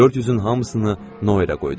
400-ün hamısını Noyerə qoydum.